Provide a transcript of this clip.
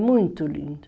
muito lindo.